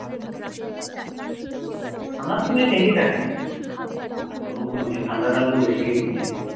ঠান্ডার দিনে ঠিকই থাকে। ওরকম কোনো নেই। ঠান্ডাটা অল্প বেশি ওইদিকে।